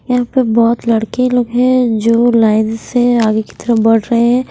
यहां पे बहुत लड़के लोग हैं जो लाइन से आगे की तरफ बढ़ रहे हैं।